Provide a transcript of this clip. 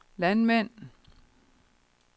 landmænd